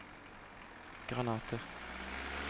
granater